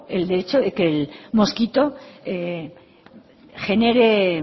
el hecho de que el mosquito genere